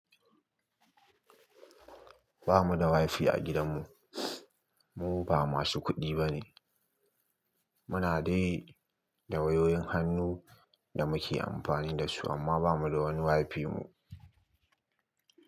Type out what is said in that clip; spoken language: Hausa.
Ba mu da Wi-Fi a gidanmu, mu ba masu kuɗi bane. Muna dai da wayoyin hannu, da muke amfani da su, amma ba mu da wani Wi-Fi mu.